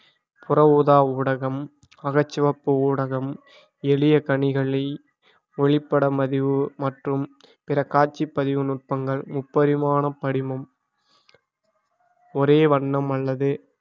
புற ஊதா ஊடகம் அகச்சிவப்பு ஊடகம் எளிய கனிகளி ஒளிபடமதிவு மற்றும் பிற காட்சிப்பதிவு நுட்பங்கள் முப்பரிமாண படிமம் ஒரே வண்ணம் அல்லது